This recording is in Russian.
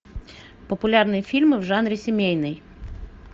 популярные фильмы в жанре семейный